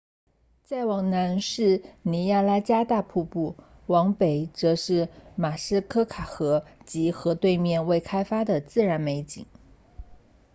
再往南是尼亚加拉大瀑布往北则是马斯科卡河 muskoka 及河对面未开发的自然美景